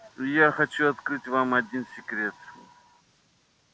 и я хочу открыть вам один секрет